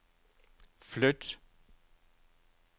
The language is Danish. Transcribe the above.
flyt